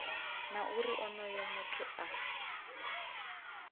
na uri onoyo muthu a